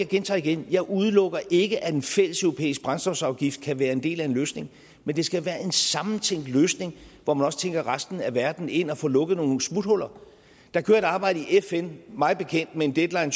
gentager igen jeg udelukker ikke at en fælleseuropæisk brændstofafgift kan være en del af en løsning men det skal være en sammentænkt løsning hvor man også tænker resten af verden ind og får lukket nogle smuthuller der kører et arbejde i fn mig bekendt med en deadline